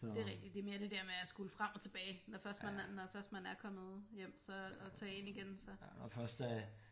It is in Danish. Det er rigtigt det er mere det dér med at skulle frem og tilbage når først når først man er kommet hjem at tage ind igen så